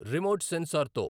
remote sensor తో